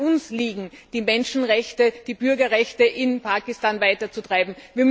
Es muss an uns liegen, die Menschenrechte, die Bürgerrechte in Pakistan voranzutreiben.